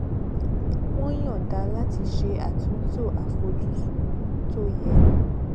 wọn yọnda láti ṣe àtúntò àfojúsùn tó yẹ